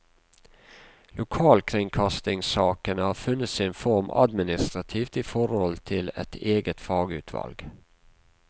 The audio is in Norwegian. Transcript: Lokalkringkastingssakene har funnet sin form administrativt i forhold til et eget fagutvalg.